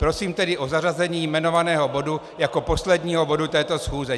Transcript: Prosím tedy o zařazení jmenovaného bodu jako posledního bodu této schůze.